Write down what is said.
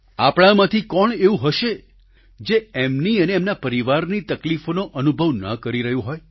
આપણામાંથી કોણ એવું હશે જે એમની અને એમના પરિવારની તકલીફોનો અનુભવ ન કરી રહ્યું હોય